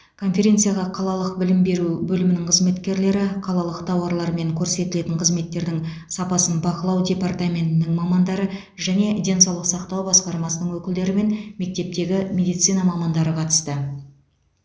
конференцияға қалалық білім беру бөлімінің қызметкерлері қалалық тауарлар мен көрсетілетін қызметтердің сапасын бақылау департаментінің мамандары және денсаулық сақтау басқармасының өкілдері мен мектептегі медицина мамандары қатысты